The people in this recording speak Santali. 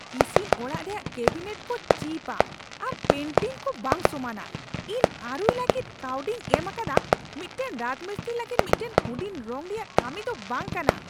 ᱤᱥᱤᱱ ᱚᱲᱟᱜ ᱨᱮᱭᱟᱜ ᱠᱮᱵᱤᱱᱮᱴ ᱠᱚ ᱪᱤᱯᱼᱟ ᱟᱨ ᱯᱮᱱᱴᱤᱝ ᱠᱚ ᱵᱟᱝ ᱥᱚᱢᱟᱱᱟ ᱾ ᱤᱧ ᱟᱹᱨᱩᱭ ᱞᱟᱹᱜᱤᱫ ᱠᱟᱹᱣᱰᱤᱧ ᱮᱢ ᱟᱠᱟᱫᱟ, ᱢᱤᱫᱴᱟᱝ ᱨᱟᱡᱽᱢᱤᱥᱛᱨᱤ ᱞᱟᱹᱜᱤᱫ ᱢᱤᱫᱴᱟᱝ ᱦᱩᱰᱤᱧ ᱨᱚᱝ ᱨᱮᱭᱟᱜ ᱠᱟᱹᱢᱤ ᱫᱚ ᱵᱟᱝ ᱠᱟᱱᱟ ᱾